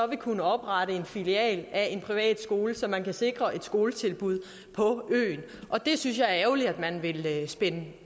vil kunne oprette en filial af en privatskole så man kan sikre et skoletilbud på øen det synes jeg er ærgerligt at man vil spænde